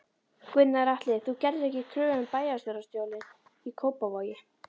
Gunnar Atli: Þú gerðir ekki kröfu um bæjarstjórastólinn í Kópavogi?